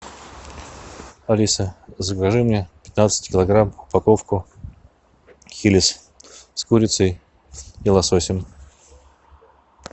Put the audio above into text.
алиса закажи мне пятнадцать килограмм упаковку хиллс с курицей и лососем